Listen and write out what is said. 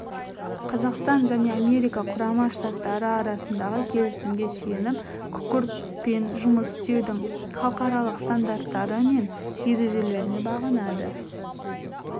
қазақстан және америка құрама штаттары арасындағы келісімге сүйеніп күкіртпен жұмыс істеудің халықаралық стандарттары мен ережелеріне бағынады